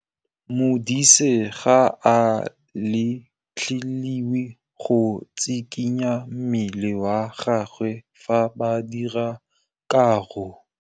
Modise ga a letlelelwa go tshikinya mmele wa gagwe fa ba dira karô.